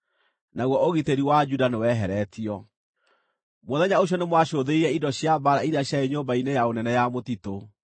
naguo ũgitĩri wa Juda nĩweheretio. Mũthenya ũcio nĩmwacũthĩrĩirie indo cia mbaara iria ciarĩ Nyũmba-inĩ ya Ũnene ya Mũtitũ;